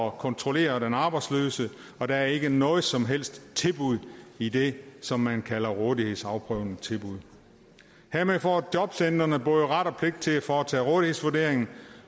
at kontrollere den arbejdsløse og der er ikke noget som helst tilbud i det som man kalder rådighedsafprøvende tilbud hermed får jobcentrene både ret og pligt til at foretage en rådighedsvurdering